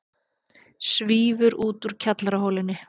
Svífur út úr kjallaraholunni.